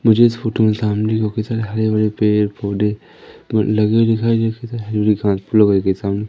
मुझे इस फोटो में सामने को कई सारे हरे भरे पेड़ पौधे लगे हुए दिखाई सामने--